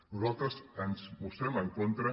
nosaltres ens hi mostrem en contra